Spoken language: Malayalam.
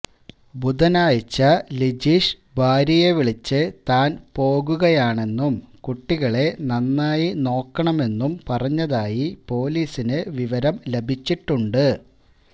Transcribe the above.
ബുധനാഴ്ച ലിജീഷ് ഭാര്യയെ വിളിച്ച് താൻ പോകുകയാണെന്നും കുട്ടികളെ നന്നായി നോക്കണമെന്നും പറഞ്ഞതായി പൊലീസിന് വിവരം ലഭിച്ചിട്ടുണ്ട്